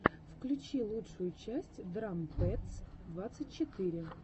включи лучшую часть драм пэдс двадцать четыре